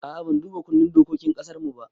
A'a ban duba kundin dokokin ƙasarmu ba